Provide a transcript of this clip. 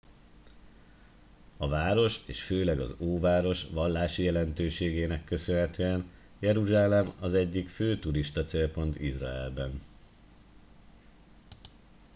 a város és főleg az óváros vallási jelentőségének köszönhetően jeruzsálem az egyik fő turistacélpont izraelben